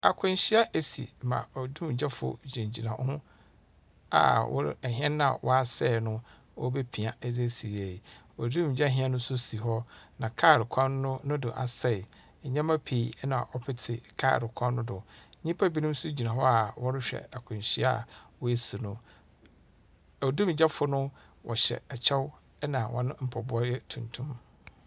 Akwenhyia esi ma odumgyafo gyinagyina hɔ a wɔre ɛhyɛn no a ɔasɛe no, wɔrebepia dze asi yie. Odumgya hyɛn nso si hɔ, na kaal kwan no, no do asɛe. Ndzɛmpa bii na ɔpete kaal kwan no do. Nyimpa bi nso gyina hɔ a wɔrehwɛ akwenhyia a oesi no. Odumgyafo no wɔhyɛ kyɛw na hɔn mpaboa yɛ tuntum.